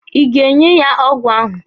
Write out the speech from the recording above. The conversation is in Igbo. Ị ga-nye ya ọgwụ ahụ?